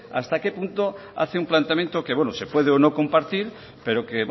hasta que punto hace un planteamiento que se puede o no compartir pero que